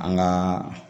An gaa